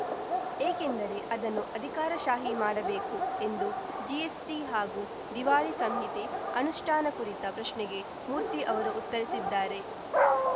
ಏಕೆಂದರೆ ಅದನ್ನು ಅಧಿಕಾರಶಾಹಿ ಮಾಡಬೇಕು ಎಂದು ಜಿಎಸ್‌ಟಿ ಹಾಗೂ ದಿವಾಳಿ ಸಂಹಿತೆ ಅನುಷ್ಠಾನ ಕುರಿತ ಪ್ರಶ್ನೆಗೆ ಮೂರ್ತಿ ಅವರು ಉತ್ತರಿಸಿದ್ದಾರೆ